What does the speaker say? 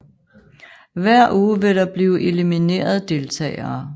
Hver uge vil der blive elimineret deltagere